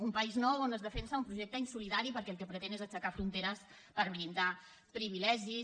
un país nou on es defensa un projecte insolidari perquè el que pretén és aixecar fronteres per blindar privilegis